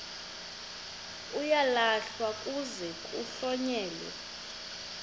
uyalahlwa kuze kuhlonyelwe